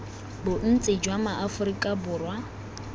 bontsi jwa ma aforika borwa